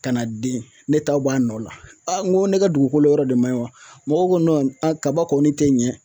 Ka na den ne ta b'a nɔ la n ko ne ka dugukolo yɔrɔ de ma ɲi wa mɔgɔ ko kaba kɔni tɛ ɲɛ